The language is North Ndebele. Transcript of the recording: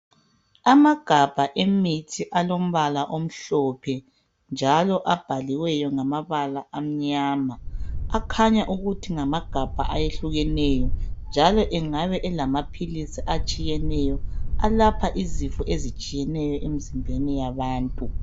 amagabha emithi alompala omhlophe njalo abhaliweyo ngamabala amnyama akhanya ukuthi ngamagabha ahlukeneyo njalo engabe elamaphilise atshiyeneyo alapha izinti zitshiyeneyo emzimbeni yabantu